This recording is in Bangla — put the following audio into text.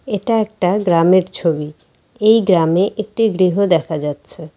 এটা একটা গ্রামের ছবি এই গ্রামে একটি গৃহ দেখা যাচ্ছে।